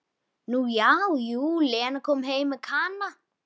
Nú já, jú, Lena kom heim með Kana.